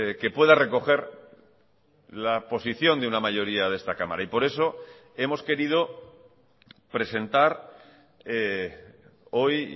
que pueda recoger la posición de una mayoría de esta cámara y por eso hemos querido presentar hoy y